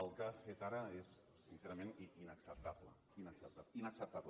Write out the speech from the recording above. el que ha fet ara és sincerament inacceptable inacceptable